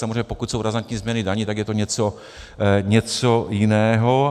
Samozřejmě pokud jsou razantní změny daní, tak je to něco jiného.